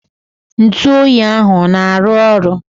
Ntụoyi ahụ ọ na-arụ ọrụ?